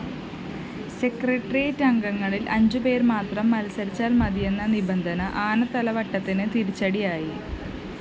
സെക്രട്ടേറിയറ്റംഗങ്ങളില്‍ അഞ്ചുപേര്‍ മാത്രം മത്സരിച്ചാല്‍ മതിയെന്ന നിബന്ധന ആനത്തലവട്ടത്തിന് തിരിച്ചടിയായി